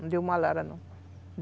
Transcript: Não deu malária, não.